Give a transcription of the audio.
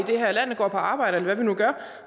det her land og går på arbejde eller hvad vi nu gør